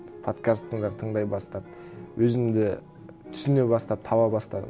тыңдай бастап өзімді түсіне бастап таба бастадым